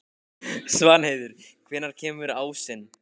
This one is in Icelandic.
Svanheiður, hvenær kemur ásinn?